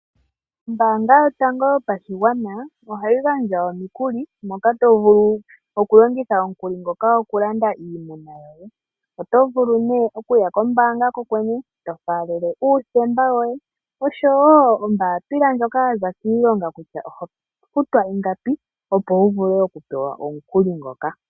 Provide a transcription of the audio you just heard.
Ombaanga yotango yopashigwana ohayi gandja omikuli moka to vulu okulongitha omukuli ngoka okulanda iimuna . Oto vulu okuya kombaanga kokwene eto faalele uuthemba woye oshowoo oombapila ndjoka ya za kiilonga yatale kutya oho futwa ingapi, opo wu vule okupewa omukuli ngoka.